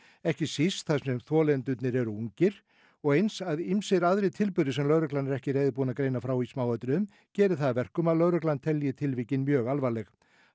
ekki síst þar sem þolendurnir eru ungir og eins að ýmsir aðrir tilburðir sem lögreglan er ekki reiðubúin að greina frá í smáatriðum geri það að verkum að lögreglan telji tilvikin mjög alvarleg